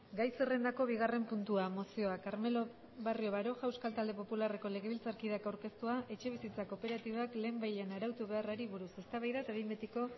gai zerrendako bigarren puntua mozioa carmelo barrio baroja euskal talde popularreko legebiltzarkideak aurkeztua etxebizitza kooperatibak lehenbailehen arautu beharrari buruz eztabaida eta behin betiko